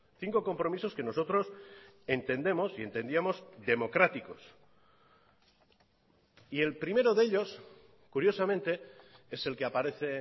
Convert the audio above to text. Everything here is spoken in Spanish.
cinco compromisos que nosotros entendemos y entendíamos democráticos y el primero de ellos curiosamente es el que aparece